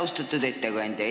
Austatud ettekandja!